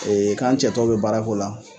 k'an cɛtɔw be baara k'o la